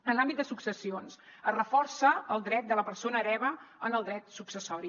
en l’àmbit de successions es reforça el dret de la persona hereva en el dret successori